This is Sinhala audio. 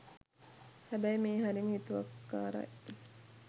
හැබැයි මේහරිම හිතුවක්කාරයි